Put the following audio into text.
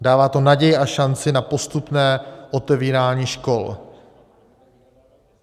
Dává to naději a šanci na postupné otevírání škol.